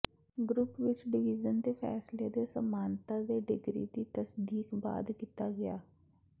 group ਵਿੱਚ division ਦੇ ਫ਼ੈਸਲੇ ਦੇ ਸਮਾਨਤਾ ਦੇ ਡਿਗਰੀ ਦੀ ਤਸਦੀਕ ਬਾਅਦ ਕੀਤਾ ਗਿਆ ਹੈ